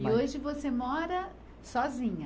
E hoje você mora sozinha?